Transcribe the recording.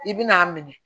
I bi n'a minɛ